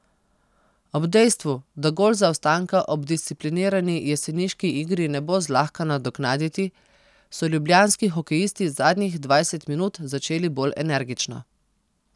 Ob dejstvu, da gol zaostanka ob disciplinirani jeseniški igri ne bo zlahka nadoknaditi, so ljubljanski hokejisti zadnjih dvajset minut začeli bolj energično.